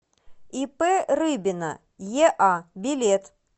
ип рыбина еа билет